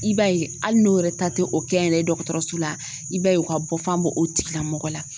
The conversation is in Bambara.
I b'a ye hali n'o yɛrɛ ta tɛ o kɛnyɛrɛye dɔgɔtɔrɔso la i b'a ye u ka bɔ fan b'o o tigilamɔgɔ la.